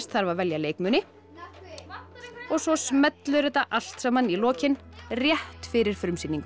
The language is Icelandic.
þarf að velja leikmuni og svo smellur þetta allt saman í lokin rétt fyrir frumsýningu